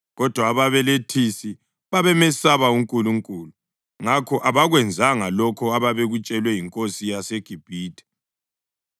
Kodwa ababelethisi babemesaba uNkulunkulu, ngakho abakwenzanga lokho ababekutshelwe yinkosi yaseGibhithe.